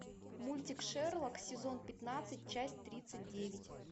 мультик шерлок сезон пятнадцать часть тридцать девять